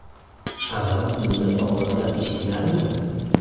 Avval bunday ovozlar eshitilarmidi?